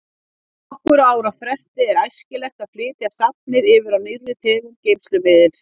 Á nokkurra ára fresti er æskilegt að flytja safnið yfir á nýrri tegund geymslumiðils.